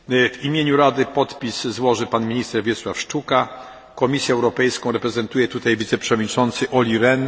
W imieniu Rady podpis złoży pan minister Wiesław Szczuka, Komisję Europejską reprezentuje tutaj wiceprzewodniczący Olli Rehn